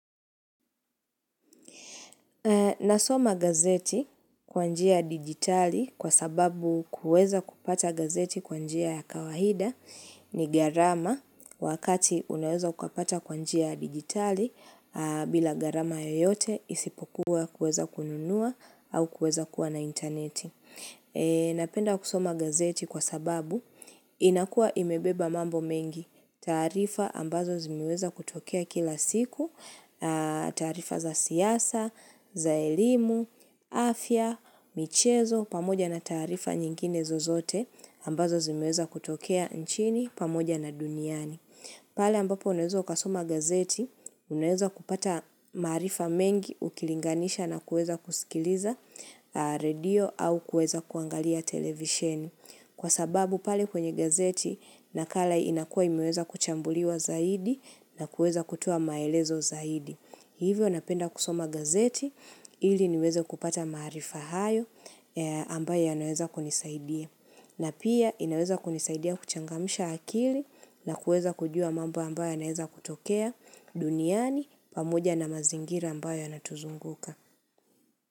Nasoma gazeti kwanjia ya digitali kwa sababu kuweza kupata gazeti kwanjia ya kawaida ni gharama wakati unaweza ukapata kwa njia digitali bila gharama yoyote isipokuwa kuweza kununua au kuweza kuwa na interneti. Napenda kusoma gazeti kwa sababu inakua imebeba mambo mengi taarifa ambazo zimeweza kutokea kila siku, taarifa za siasa, za elimu, afya, michezo, pamoja na taarifa nyingine zozote ambazo zimeweza kutokea nchini pamoja na duniani. Pale ambapo unaweza ukasoma gazeti, unaweza kupata maharifa mengi ukilinganisha na kuweza kusikiliza redio au kuweza kuangalia televisheni. Kwa sababu pale kwenye gazeti, nakala inakuwa imeweza kuchambuliwa zaidi na kuweza kutoa maelezo zaidi. Hivyo napenda kusoma gazeti, ili niweze kupata maharifa hayo ambayo yanaweza kunisaidia. Na pia inaweza kunisaidia kuchangamsha akili na kuweza kujua mambo ambayo yanaweza kutokea duniani pamoja na mazingira ambayo yanatuzunguka.